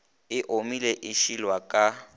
e omile e šilwa ka